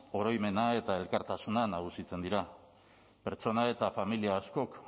oroimena eta elkartasuna nagusitzen dira pertsona eta familia askok